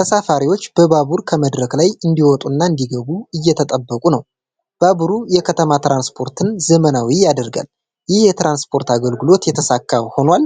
ተሳፋሪዎች ባቡሩ ከመድረክ ላይ እንዲወጡና እንዲገቡ እየጠበቁ ነው። ባቡሩ የከተማ ትራንስፖርትን ዘመናዊ ያደርጋል። ይህ የትራንስፖርት አገልግሎት የተሳካ ሆኗል?